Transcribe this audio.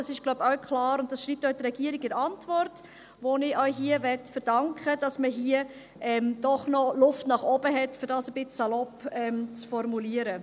Das ist, wie ich glaube, auch klar, und das schreibt auch die Regierung in der Antwort – die ich auch hier verdanken will –, nämlich, dass man hier doch noch Luft nach oben hat, um dies etwas salopp zu formulieren.